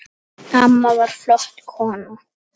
Amma var flott kona.